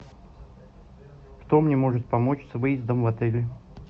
кто мне может помочь с выездом в отеле